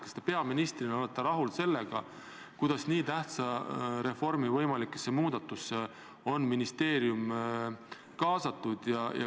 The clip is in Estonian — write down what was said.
Kas te peaministrina olete rahul sellega, kuidas nii tähtsa reformi võimalikesse muudatustesse on ministeerium kaasatud?